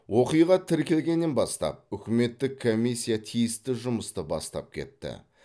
оқиға тіркелгеннен бастап үкіметтік комиссия тиісті жұмысты бастап кетті